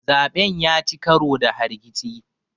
zaɓen ya ci karo da hargitsi